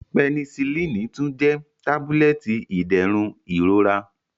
Penisillini tun jẹ tabulẹti iderun irora.